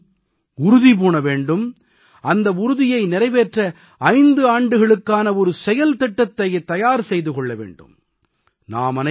ஒவ்வொரு குடிமகனும் உறுதி பூண வேண்டும் அந்த உறுதியை நிறைவேற்ற 5 ஆண்டுகளுக்கான ஒரு செயல்திட்டத்தைத் தயார் செய்து கொள்ள வேண்டும்